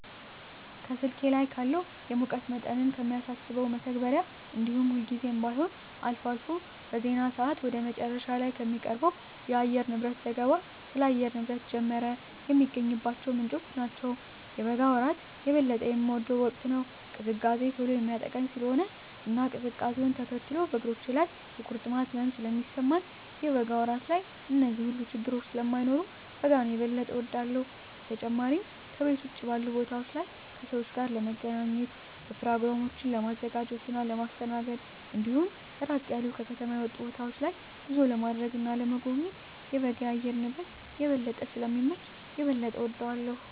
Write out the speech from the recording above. ከስልኬ ላይ ካለው የሙቀት መጠንን ከሚያሳሰው መተግበሪያ እንዲሁም ሁልጊዜም ባይሆን አልፎ አልፎ በዜና ሰአት ወደ መጨረሻ ላይ ከሚቀርበው የአየርንብረት ዘገባ ስለ አየር ንብረት ጀመረ የሚገኝባቸው ምንጮች ናቸው። የበጋ ወራት የበለጠ የምወደው ወቅት ነው። ቅዝቃዜ ቶሎ የሚያጠቃኝ ስለሆነ እና ቅዝቃዜውነ ተከትሎ በእግሮቼ ላይ የቁርጥማት ህመም ስለሚሰማኝ የበጋ ወራት ላይ እነዚህ ሁሉ ችግረኞች ስለማይኖሩ በጋን የበጠ እወዳለሁ። በተጨማሪም ከቤት ውጭ ባሉ ቦታወች ላይ ከሰወች ጋር ለመገናኘት፣ በኘሮግራሞችን ለማዘጋጀት እና ለማስተናገድ እንዲሁም ራቅ ያሉ ከከተማ የወጡ ቦታወች ላይ ጉዞ ለማድረግ እና ለመጎብኘት የበጋ የአየር ንብረት የበለጠ ስለሚመች የበለጠ እወደዋለሁ።